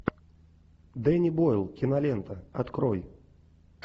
дэнни бойл кинолента открой